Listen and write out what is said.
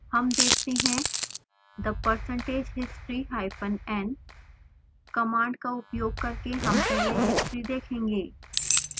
हम देखते हैं